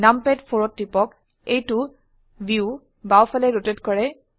নামপাদ 4 ত টিপক এইটো ভিউ বাও ফালে ৰোটেট কৰে